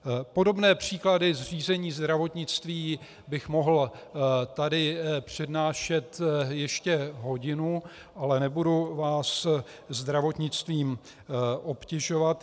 Podobné příklady řízení zdravotnictví bych mohl tady přednášet ještě hodinu, ale nebudu vás zdravotnictvím obtěžovat.